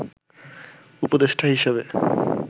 উপদেষ্টা হিসাবে